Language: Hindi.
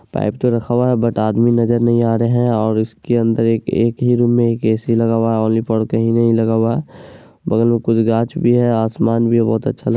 पाइप तो रखा हुआ है बट आदमी नजर नहीं आ रहे हैं और इसके अन्दर एक ही रूम में ए.सी. लगा हुआ है और नहीं लगा हुआ है| बगल में कुछ गाछ भी है आसमान भी बोहत अच्छा--